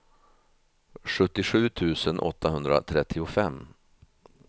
sjuttiosju tusen åttahundratrettiofem